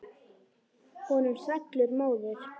Honum svellur móður.